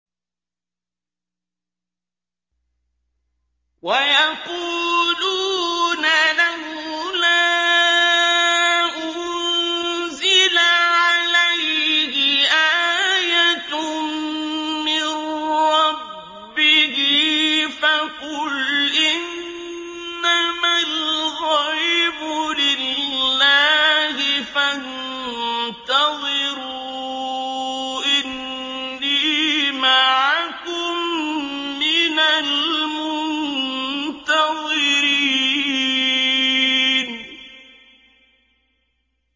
وَيَقُولُونَ لَوْلَا أُنزِلَ عَلَيْهِ آيَةٌ مِّن رَّبِّهِ ۖ فَقُلْ إِنَّمَا الْغَيْبُ لِلَّهِ فَانتَظِرُوا إِنِّي مَعَكُم مِّنَ الْمُنتَظِرِينَ